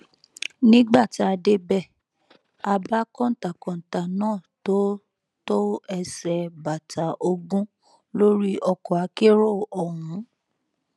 nígbà tá a débẹ a bá kọńtà kọńtà náà tó tó ẹsẹ bàtà ogún lórí ọkọ akérò ọhún